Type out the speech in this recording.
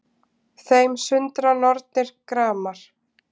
Þeim sundra nornir gramar